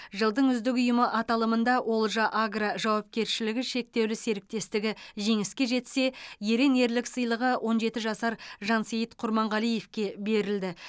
жылдың үздік ұйымы аталымында олжа агро жауапкершілігі шектеулі серіктестігі жеңіске жетсе ерен ерлік сыйлығы он жеті жасар жансейіт құрманғалиевке берілді